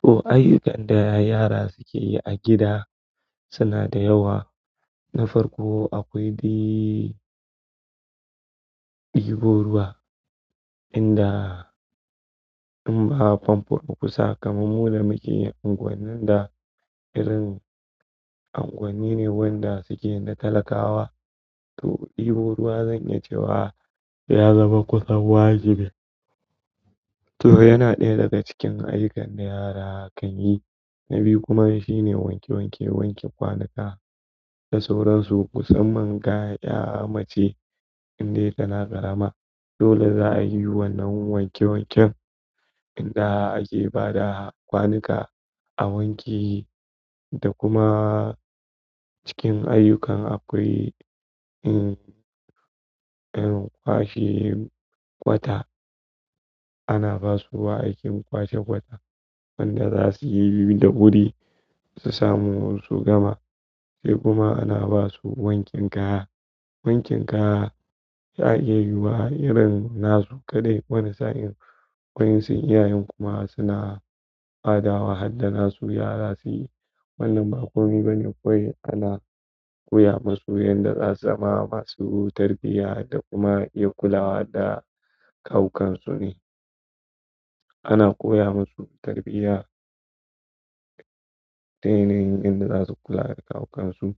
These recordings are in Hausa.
To ayyukan da yara suke yi a gida suna da yawa. Na farko akwai di ɗibo ruwa, inda in ba fanfo a kusa kamar muda muke unguwannin da irin anguwani ne wanda suke da talakawa to ɗibo ruwa zan iya cewa ya zama kusan wajibai. To yana ɗaya daga cikin ayyukan da yara kan yi. Na biyu kuma shine wanke wanke, wankin kwanuka da sauransu samman ga ƴa mace in dai tana ƙarama dole za a yi wannan wanke wanken inda ake ba da kwanuka a wanke da kuma cikin ayyukan akwai, irin kwashe ƙwata. Ana ba su wa aikin kwashe ƙwata? Wanda za su yi da wuri su samu su gama. Sai kuma ana ba su wankin kaya. Wankin kaya za a iya yiwu wa irin nazo kaɗai wani sa'in. Wa'yansun iyayen kuma suna badawa har da nazu yara su yi. Wannan ba komi bane kawai ana koya masu yanda za su zama masu tarbiya da kuma iya kulawa da kawukansu ne. Ana koya masu tarbiya ta yanayin yadda za su kula da kawukansu.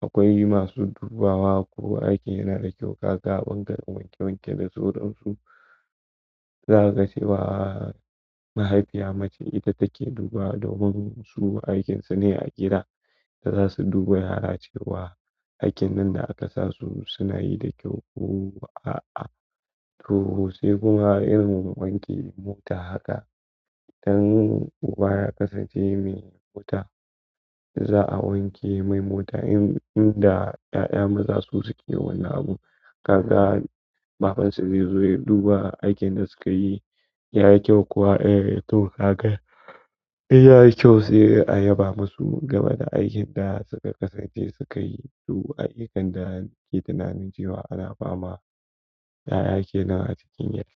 Akwai masu dubawa ko aikin yana da kyau, kaka kun karɓi wanke wanke da sauran su. Za ka ce wa mahaifiya mace ita take dubawa domin su aikinsu ne a gida, da za su duba yara cewa aikin nan da aka sa su suna yi da kyau ko a'a. To sai kuma irin wanke mota haka. Idan uba ya kasance mai wuta za'a wanke mai mota in inda ƴaƴa maza su suke wani abu. Kaga babansu zai zo ya duba aikin da suka yi yayi kyau kuwa eh toh hakan yayi kyau sai a yaba masu game da aikin da suka kasance suka yi. To adik inda ake tunanin cewa ana fama 'ya'ya kenan acikin yadd.